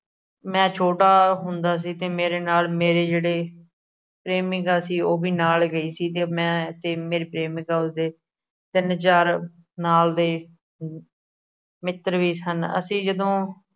ਮੈਂ ਛੋਟਾ ਹੁੰਦਾ ਸੀ। ਤੇ ਮੇਰੇ ਨਾਲ ਮੇਰੇ ਜਿਹੜੇ ਪ੍ਰੇਮਿਕਾ ਸੀ, ਉਹ ਵੀ ਨਾਲ ਗਈ ਸੀ। ਤੇ ਮੈਂ ਤੇ ਮੇਰੀ ਪ੍ਰੇਮਿਕਾ ਉਸ ਦੇ ਤਿੰਨ, ਚਾਰ ਨਾਲ ਦੇ ਅਮ ਮਿੱਤਰ ਵੀ ਸਨ। ਅਸੀਂ ਜਦੋ